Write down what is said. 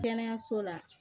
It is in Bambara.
Kɛnɛyaso la